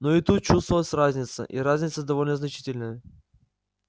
но и тут чувствовалась разница и разница довольно значительная